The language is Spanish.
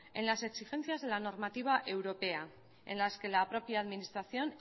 en las exigencias de la normativa europea en las que la propia administración